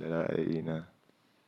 ra'ayina.